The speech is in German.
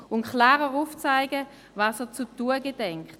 Er muss klar aufzeigen, was er zu tun gedenkt.